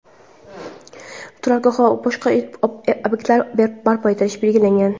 turargoh va boshqa ob’ektlar barpo etilishi belgilangan.